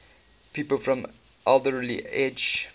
people from alderley edge